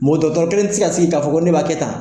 Mɔ kelen ti se ka sigi k'a fɔ ko ne b'a kɛ tan.